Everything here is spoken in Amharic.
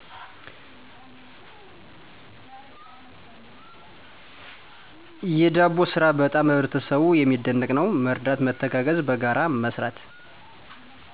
የደቦ ስራ በጣም በህበረሰቡ የመደንቀው ነው መረዳት መተጋገዝ በጋራ መስራት።